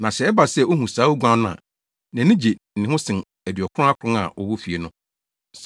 Na sɛ ɛba sɛ ohu saa oguan no a, nʼani gye ne ho sen aduɔkron akron a wɔwɔ fie no.